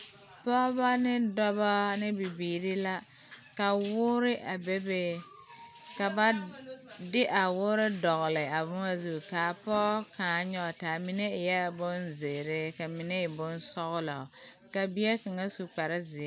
pɔgeba ne dɔba ne bibiiri. la ka wɔɔre a bebe ka ba de a wɔɔre dɔgeli a boma zu ka pɔge kaŋa. nyɔge taa mine eɛ bonzeɛre ka mine e bonsɔglɔ ka bie kaŋa su kpare zeɛ.